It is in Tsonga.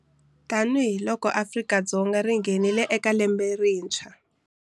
Tanihi loko Afrika-Dzonga ri nghenile eka lembe le rintshwa.